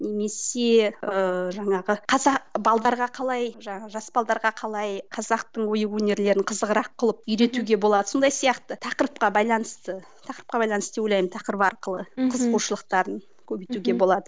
немесе ыыы жаңағы қазақ қалай жаңағы жас қалай қазақтың ою өнерлерін қызығырақ қылып үйретуге болады сондай сияқты тақырыпқа байланысты тақырыпқа байланысты деп ойлаймын тақырып арқылы қызығушылықтарын көбейтуге болады